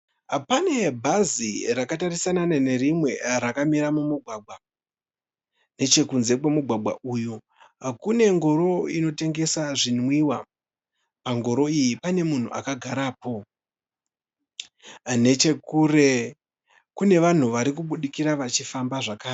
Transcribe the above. Pane bhazi rakatarisana nerimwe rakamira mumugwagwa. Nechekunze kwemugwagwa uyu kune ngoro inotengesa zvinwiwa, ngoro iyi pane munhu akagarapo. Nechekure kune vanhu varikubudikira vachifamba zvakare.